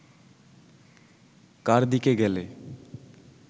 কার দিকে গেলে